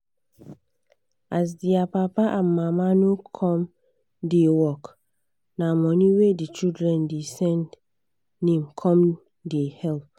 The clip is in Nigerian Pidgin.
as dia papa and mama no come da work na money wey the children da send naim com da help